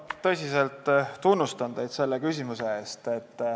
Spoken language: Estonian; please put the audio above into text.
Ma tõsiselt tunnustan teid selle küsimuse eest.